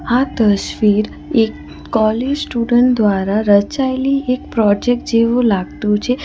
આ તસ્વીર એક કોલેજ સ્ટુડન્ટ દ્વારા રચાઇલી એક પ્રોજેક્ટ જેવુ લાગતું છે.